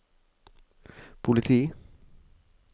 politi